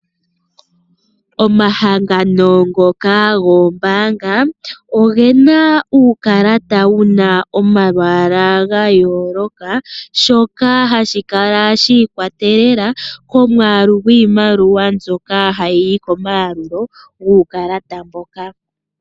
Omahangano ngoka gombaanga, oge na uukalata wu na omalwaala ga yooloka shoka hashi kala shi ikwatelela komwaalu giimaliwa mbyoka hayi yi komaalulo guukalata mboka.